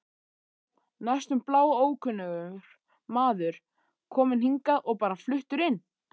Næstum bláókunnugur maður, kominn hingað og bara fluttur inn.